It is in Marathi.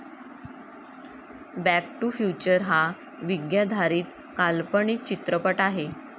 बॅक टू फ्युचर हा विज्ञाधारीत काल्पनिक चित्रपट आहे.